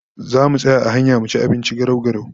Zamu tsaya a hanya mu ci abinci garau-garau